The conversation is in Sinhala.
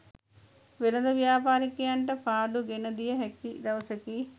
වෙළෙඳ ව්‍යාපාරිකයන්ට පාඩු ගෙන දිය හැකි දවසකි.